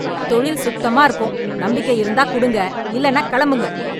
தொழில் சுத்தமா இருக்கும், நம்பிக்கை இருந்தா கொடுங்க, இல்லென்னாக் கிளம்புங்க.